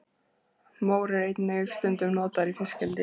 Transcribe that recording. mór er einnig stundum notaður í fiskeldi